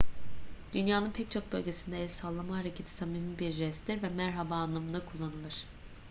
dünyanın pek çok bölgesinde el sallama hareketi samimi bir jesttir ve merhaba anlamında kullanılır